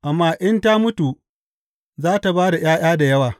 Amma in ta mutu, za tă ba da ’ya’ya da yawa.